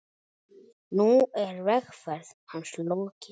Nú er vegferð hans lokið.